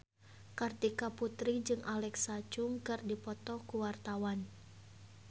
Kartika Putri jeung Alexa Chung keur dipoto ku wartawan